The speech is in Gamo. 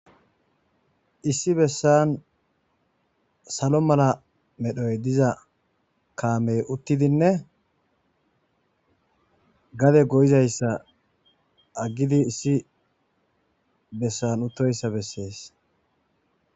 Issi bessan salo mala medhoy diza kammey uttidinne gade goyizayissa agidi issi bessan utoyissa beses